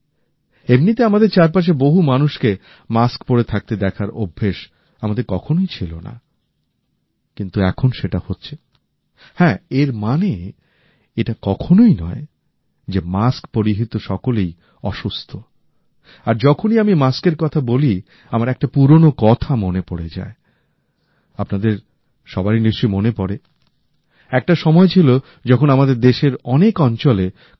এমনিতে আমাদের চারপাশে বহু মানুষকে মাস্ক পড়ে থাকতে দেখার অভ্যাস আমাদের কখনোই ছিল না